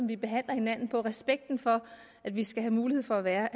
vi behandler hinanden på og respekten for at vi skal have mulighed for at være